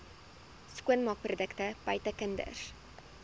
skoonmaakprodukte buite kinders